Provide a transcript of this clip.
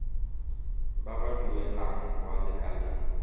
ba ba duelang kwa lekaleng